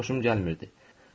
Bu məxluqdan xoşum gəlmirdi.